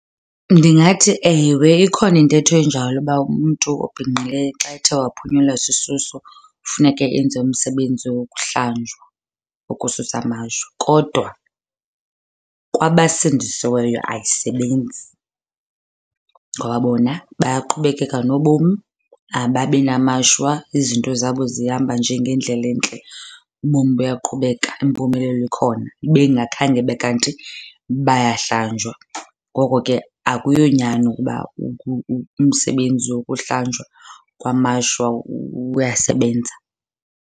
Ndingathi ewe, ikhona intetho enjalo uba umntu obhinqileyo xa ethe waphunyelwa sisisu funeke enze umsebenzi wokuhlanjwa ukususa amashwa. Kodwa kwabasindisiweyo ayisebenzi ngoba bona buyaqhubekeka nobomi, ababi namashwa. Izinto zabo zihamba nje ngendlela entle, ubomi buyaqhubeka, impumelelo ikhona, ibe ingakhange ibe kanti bayahlanjwa. Ngoko ke akuyonyani ukuba umsebenzi wokuhlanjwa kwamashwa uyasebenza.